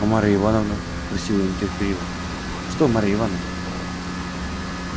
а марья ивановна спросил я нетерпеливо что марья ивановна